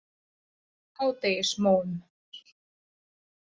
Hádegismóum